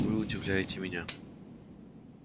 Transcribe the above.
вы удивляете меня